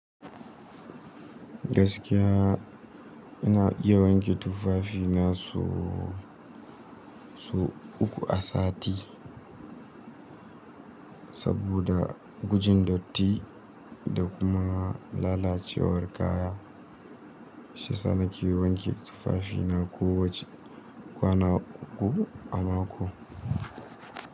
Gaskiya ina iya wanke tufafina sau uku a sati. Saboda gujin datti da kuma lalacewar kaya, shiyasa nake wanke tufafina kowace kwana uku a mako.